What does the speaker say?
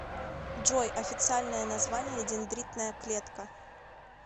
джой официальное название дендритная клетка